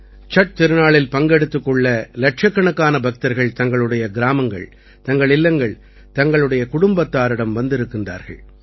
சட் திருநாளில் பங்கெடுத்துக் கொள்ள இலட்சக்கணக்கான பக்தர்கள் தங்களுடைய கிராமங்கள் தங்கள் இல்லங்கள் தங்களுடைய குடும்பத்தாரிடம் வந்திருக்கின்றார்கள்